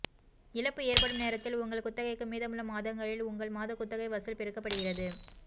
இழப்பு ஏற்படும் நேரத்தில் உங்கள் குத்தகைக்கு மீதமுள்ள மாதங்களில் உங்கள் மாத குத்தகை வசூல் பெருக்கப்படுகிறது